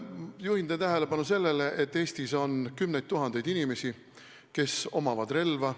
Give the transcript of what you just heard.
Juhin teie tähelepanu sellele, et Eestis on kümneid tuhandeid inimesi, kes omavad relva.